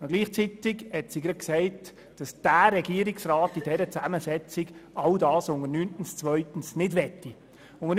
Gleichzeitig sagte gesagt, dass der Regierungsrat in der aktuellen Zusammensetzung all das, was unter 9.2 steht, lieber nicht umsetzen wolle.